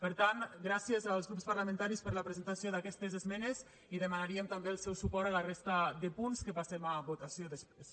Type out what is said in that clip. per tant gràcies als grups parlamentaris per la presentació d’aquestes esmenes i demanaríem també el seu suport a la resta de punts que passem a votació després